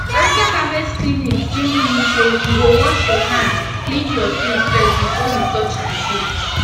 after harvest cleaning still mean say u go wash ur hand clean ur tools first before u touch d food